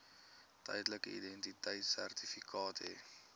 tydelike identiteitsertifikaat hê